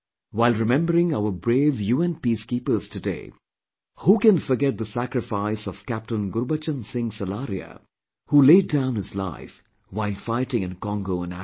While remembering our brave UN Peacekeepers today, who can forget the sacrifice of Captain Gurbachan Singh Salaria who laid down his life while fighting in Congo in Africa